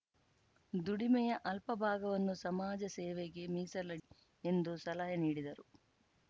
ದುಡಿಮೆಯ ಅಲ್ಪ ಭಾಗವನ್ನು ಸಮಾಜ ಸೇವೆಗೆ ಮೀಸಲಿಡಿ ಎಂದು ಸಲಹೆ ನೀಡಿದರು